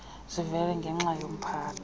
zivele nenxa yempatho